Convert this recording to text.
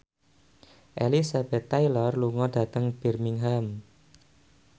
Elizabeth Taylor lunga dhateng Birmingham